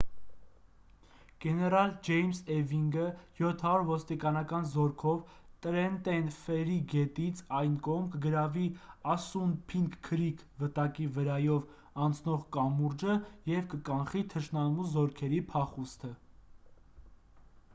գեներալ ջեյմս էվինգը 700 ոստիկանական զորքով տրենտեն ֆերրի գետից այն կողմ կգրավի ասսունփինք քրիք վտակի վրայով անցնող կամուրջը և կկանխի թշնամու զորքերի փախուստը